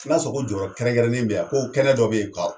N'a sɔrɔ ko jɔ yɔrɔ kɛrɛnkɛrɛnnen be yan ko kɛnɛ dɔ be yen ka